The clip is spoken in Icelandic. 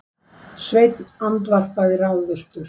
Sveinn andvarpaði ráðvilltur.